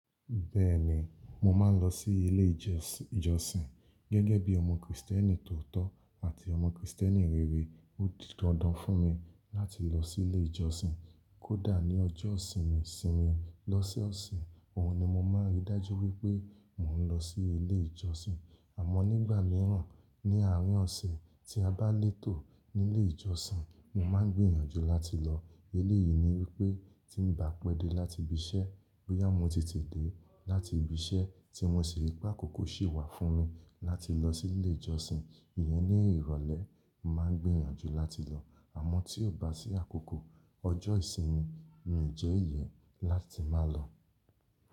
Bẹ́ẹ̀ni, mo máa ń lọ sí ilé ìjọsìn gẹ́gẹ́ bí ọmọ Kristẹni tó tọ́ àti ọmọ Kristẹni rere. Ó di dandan fún mi láti lọ sí ilé ìjọsìn. Kódà ní ọjọ́ ìsinmi sinmi, lọ́sẹ̀ oọ̀se, òhun ni mo máa rí dájú wípé mo ń lọ sí ilé ìjọsìn. Àmọ́ nígbà míràn ní àárín ọ̀sẹ́ tí a bá ń létò nílé ìjọsìn, mo máa ń gbìyànjú láti lọ. Eléyìí ni wípé tí ń bá pẹ́ dé láti ibi iṣẹ́, bóyá mo ti tètè dé láti ibi iṣẹ́ tí wọn ṣe ìrépà kókó sì wà fún mi láti lọ sí ilé ìjọsìn, ìyẹn ni ìrọ̀lẹ́ mo máa ń gbìyànjú láti lọ. Àmọ́ tí ó bá sí àkókò ọjọ́ ìsinmi, mi jẹ ìyẹ́ láti má lọ.